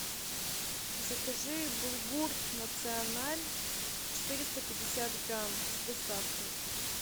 закажи булгур националь четыреста пятьдесят грамм с доставкой